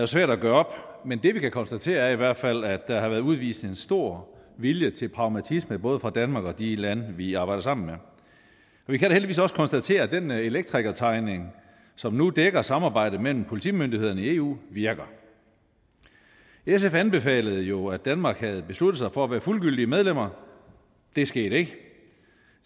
svært at gøre op men det vi kan konstatere er i hvert fald at der har været udvist en stor vilje til pragmatisme både fra danmark og de lande vi arbejder sammen med og vi kan da heldigvis også konstatere at den elektrikertegning som nu dækker samarbejdet mellem politimyndighederne i eu virker sf anbefalede jo at danmark havde besluttet sig for at være fuldgyldige medlemmer det skete ikke